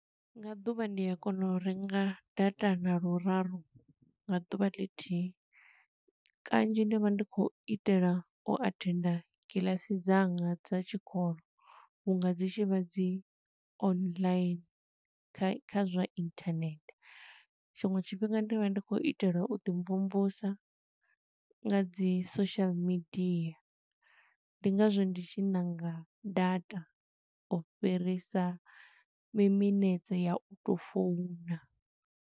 Nga ḓuvha ndi a kona u renga data nga luraru nga ḓuvha ḽithihi. Kanzhi ndi vha ndi khou itela u athenda kiḽasi dzanga dza tshikolo, vhunga dzi tshi vha dzi online, kha kha zwa inthanethe. Tshiṅwe tshifhinga ndi vha ndi khou itela u ḓi mvumvusa nga dzi social media. Ndi nga zwo ndi tshi ṋanga data u fhirisa mi minetse ya u tou founa.